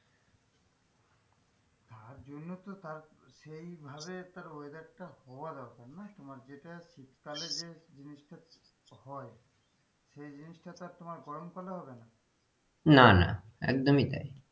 তার জন্যই তো তার সেই ভাবে তার weather টা হওয়া দরকার না তোমার যে টা শীতকালে যে জিনিসটা হয় সেই জিনিসটা তো আর তোমার গরমকালে হবে না না না একদমই তাই,